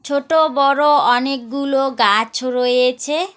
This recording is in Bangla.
ছোট বড় অনেকগুলো গাছ রয়েছে।